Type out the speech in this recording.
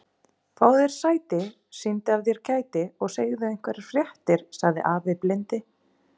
Fáðu þér sæti, sýndu af þér kæti og segðu einhverjar fréttir sagði afi blindi.